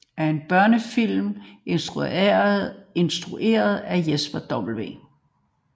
Ogginoggen er en børnefilm instrueret af Jesper W